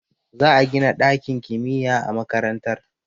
Za a gina dakin kimiyya a makarantar